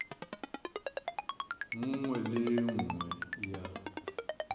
nngwe le e nngwe ya